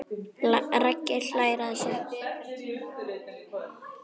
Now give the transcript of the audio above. Raggi hlær að þessu.